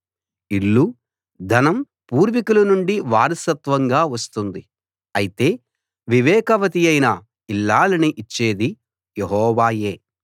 ఇల్లు ధనం పూర్వికులనుండి వారసత్వంగా వస్తుంది అయితే వివేకవతియైన ఇల్లాలిని ఇచ్చేది యెహోవాయే